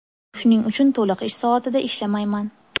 Shuning uchun to‘liq ish soatida ishlamayman.